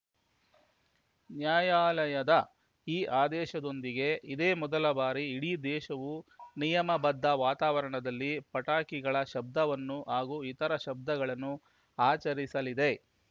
ನ್ಯಾಯಾಲಯದ ಈ ಆದೇಶದೊಂದಿಗೆ ಇದೇ ಮೊದಲ ಬಾರಿ ಇಡೀ ದೇಶವು ನಿಯಮಬದ್ಧ ವಾತಾವರಣದಲ್ಲಿ ಪಟಾಕಿಗಳ ಶಬ್ದವನ್ನು ಹಾಗೂ ಇತರ ಶಬ್ದಗಳನ್ನು ಆಚರಿಸಲಿದೆ